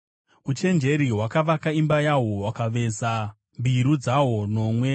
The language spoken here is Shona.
Uchenjeri hwakavaka imba yahwo; hwakaveza mbiru dzahwo nomwe.